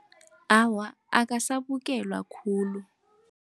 Awa, akasabukelwa khulu.